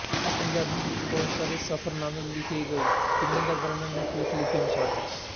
ਪੰਜਾਬੀ ਵਿੱਚ ਬਹੁਤ ਸਾਰੇ ਸਫ਼ਰਨਾਮੇ ਲਿਖ ਗਏ ਜਿਨ੍ਹਾਂ ਦਾ ਵਰਣਨ ਹੇਠ ਲਿਖੇ ਅਨੁਸਾਰ ਹੈ